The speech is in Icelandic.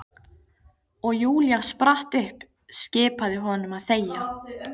Og Júlía spratt upp, skipaði honum að þegja.